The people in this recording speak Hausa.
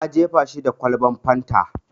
Na jefe shi da kwalban fanta.